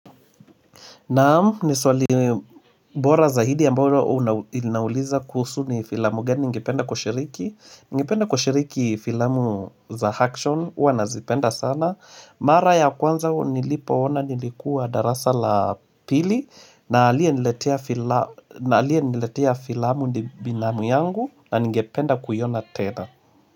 Naam, ni swali bora zaidi ambalo inauliza kuhusu ni filamu gani ngependa kushiriki. Ningependa kushiriki filamu za action, huwa nazipenda sana Mara ya kwanza nilipo ona nilikuwa darasa la pili na aliyeniletea filamu ni binamu yangu na ngependa kuyona tena.